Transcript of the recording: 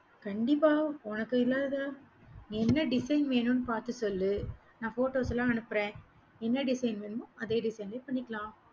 கண்டிப்பா, உனக்கு இல்லாததா என்ன design வேணும்னு பார்த்து சொல்லு. நான் photos லாம் அனுப்புறேன் என்ன design வேணும் அதே design ல பண்ணிக்கலாம்